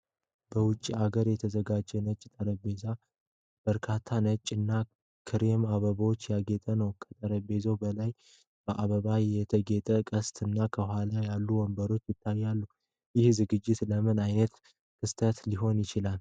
በውጭ አገር የተዘጋጀ ነጭ ጠረጴዛ በበርካታ ነጭ እና ክሬም አበባዎች ያጌጠ ነው። ከጠረጴዛው በላይ በአበባ የተጌጠ ቅስት እና ከኋላ ያሉት ወንበሮች ይታያሉ። ይህ ዝግጅት ለምን ዓይነት ክስተት ሊሆን ይችላል?